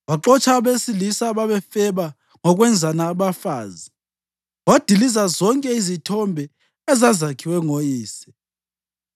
Waxotsha abesilisa ababefeba ngokwenzana abafazi, wadiliza zonke izithombe ezazakhiwe ngoyise.